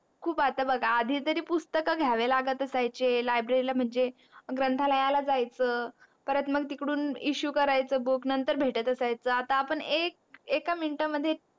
खूप आता बग आधी तरी पुस्तक घ्यावे लागत असायचे library ला म्हणजे ग्रंथालयाला जायच परत मग तिकडून issue करायचं book नंतर भेट असयाच आता आपण एक एका minute मध्ये